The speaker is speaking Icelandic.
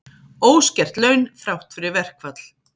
Óskert laun þrátt fyrir verkfall